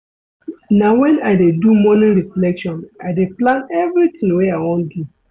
Na wen I dey do morning reflection I dey plan everytin wey I wan do.